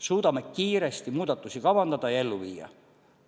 Suudame kiiresti muudatusi kavandada ja ellu viia.